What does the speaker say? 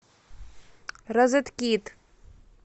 розеткид